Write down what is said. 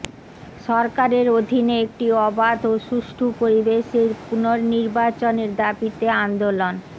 সরকারের অধীনে একটি অবাধ ও সুষ্ঠু পরিবেশে পুনর্নির্বাচনের দাবিতে আন্দোলন